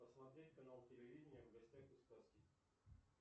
посмотреть канал телевидения в гостях у сказки